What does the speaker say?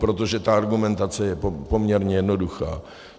Protože ta argumentace je poměrně jednoduchá.